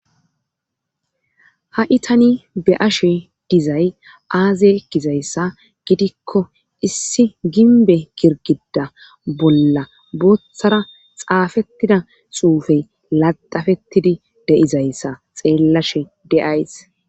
Ha'i tani be ashe dizay aazey ekkizayssa gidikko issi ginbe girgida bolla booththara xaafettida xuufey laxafettidi deizayssa xeellashe deays.